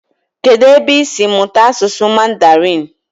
Kedụ ebe isi mụta asụsụ mandarin?